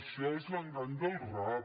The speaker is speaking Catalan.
això és l’engany del rap